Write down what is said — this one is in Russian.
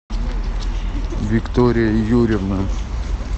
виктория юрьевна